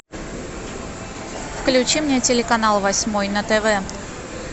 включи мне телеканал восьмой на тв